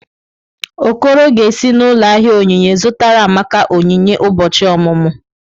Okoro ga-esi n’ụlọ ahịa onyinye zụtara Amaka onyinye ụbọchị ọmụmụ.